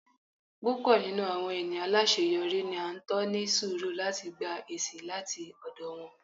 pupọ ninú awọn eniyan alaṣeyọri ni a n tọ ní surú lati gbá esi lati ọdọ wọn